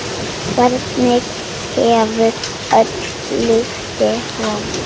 Hvert hefur öll lyktin horfið?